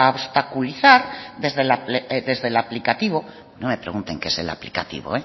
obstaculizar desde el aplicativo no me pregunten que es el aplicativo